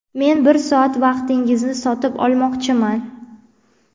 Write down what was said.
men bir soat vaqtingizni sotib olmoqchiman.